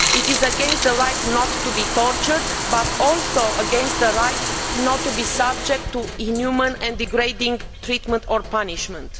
It is against the right not to be tortured, but also against the right not to be subject to inhuman and degrading treatment or punishment.